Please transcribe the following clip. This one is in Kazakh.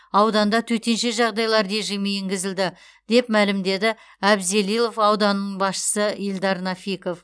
ауданда төтенше жағдайлар режимі енгізілді деп мәлімдеді абзелилов ауданының басшысы ильдар нафиков